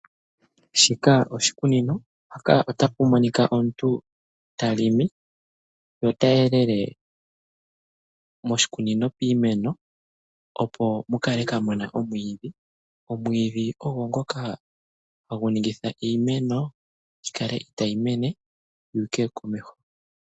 Shika oshikunino, mpaka otapu monika omuntu talimi notayelele moshikunino iimeno opo mukale kamuna omwiidhi. Omwiidhi ogo ngoka haguningitha iimeno yikale itayi mene yuuke komeho.